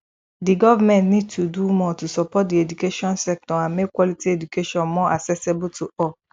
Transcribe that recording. di government need to do more to support di education sector and make quality education more accessibile to all